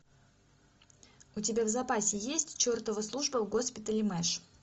у тебя в запасе есть чертова служба в госпитале мэш